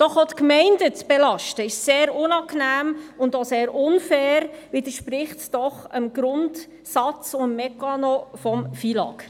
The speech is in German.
Doch auch die Gemeinden zu belasten, ist sehr unangenehm und auch sehr unfair, widerspricht es doch dem Grundsatz und Mechanismus des FILAG.